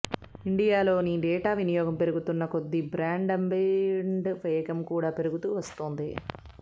ఇండియాలో డేటా వినియోగం పెరుగుతున్న కొద్ది బ్రాడ్బ్యాండ్ వేగం కూడా పెరుగుతూ వస్తోంది